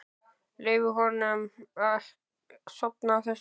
Leyfa honum að sofa á þessu.